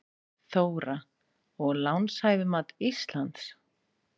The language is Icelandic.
Þóra: Og lánshæfismat Íslands?